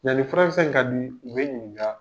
Yani furakisɛ in ka dun, u bɛ n ɲininka.